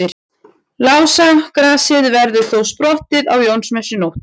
Lásagrasið verður þá sprottið á Jónsmessunótt.